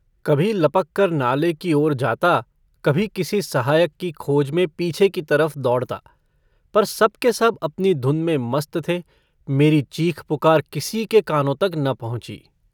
कभी लपककर नाले की ओर जाता, कभी किसी सहायक की खोज में पीछे की तरफ दौड़ता, पर सब के सब अपनी धुन में मस्त थे। मेरी चीख-पुकार किसी के कानों तक न पहुँची।